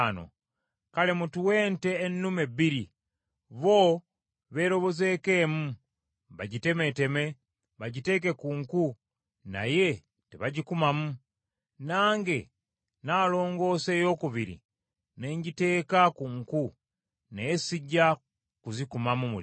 Kale mutuwe ente ennume bbiri, bo beerobozeeko emu, bagitemeeteme, bagiteeke ku nku, naye tebagikumamu. Nange naalongoosa eyookubiri, ne ngiteeka ku nku naye sijja kuzikumamu muliro.